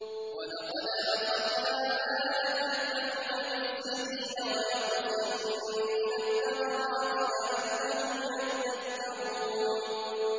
وَلَقَدْ أَخَذْنَا آلَ فِرْعَوْنَ بِالسِّنِينَ وَنَقْصٍ مِّنَ الثَّمَرَاتِ لَعَلَّهُمْ يَذَّكَّرُونَ